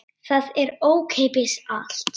Það er ókeypis allt.